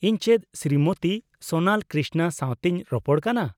ᱤᱧ ᱪᱮᱫ ᱥᱨᱤᱢᱚᱛᱤ ᱥᱳᱱᱟᱞ ᱠᱨᱤᱥᱱᱟ ᱥᱟᱶᱛᱮᱧ ᱨᱚᱯᱚᱲ ᱠᱟᱱᱟ ?